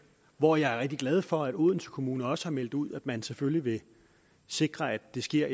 hvor jeg er rigtig glad for at odense kommune også har meldt ud at man selvfølgelig vil sikre at det sker